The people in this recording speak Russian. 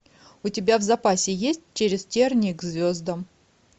у тебя в запасе есть через тернии к звездам